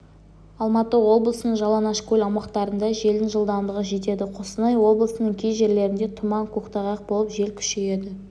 алматы облысының жалаңашкөл аумақтарында желдің жылдамдығы жетеді қостанай облысының кей жерлерінде тұман көктайғақ болып жел күшейеді